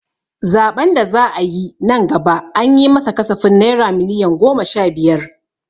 Zaɓen da za'a yi nan gaba an yi ma sa kasafin naira miliyon goma sha biyar.